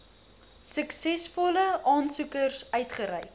suksesvolle aansoekers uitgereik